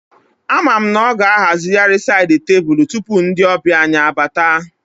Ama m na ọ ga-ahazigharị sáyid tebụlu tupu ndị ọbịa anyị abata